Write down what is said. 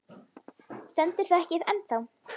Stendur það ekki ennþá?